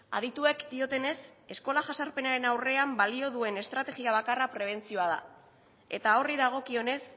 adituek diotenez eskola jazarpenaren aurrean balio duen estrategia bakarra prebentzioa da eta horri dagokionez